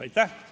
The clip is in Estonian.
Aitäh!